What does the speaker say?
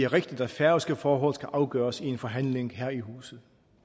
rigtigt at færøske forhold skal afgøres i en forhandling her i huset